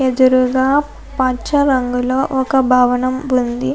ఎదురుగా పచ్చిరంగులో ఒక భవనం ఉంది.